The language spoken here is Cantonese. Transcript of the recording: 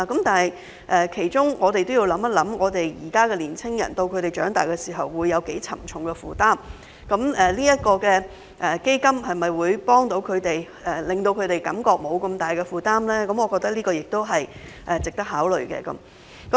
但是，我們要考慮的是，現在的年青人在長大時的負擔會有多沉重，該基金可否幫助他們，讓他們減輕負擔，我覺得這些都是值得考慮的。